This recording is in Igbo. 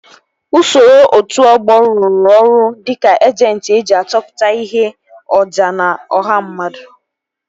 Usoro otu ọgbọ ruru ọrụ dịka ejentị eji achọpụta ihe oja n'ọha mmadụ